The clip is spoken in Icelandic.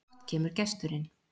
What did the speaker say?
Brátt kemur gesturinn,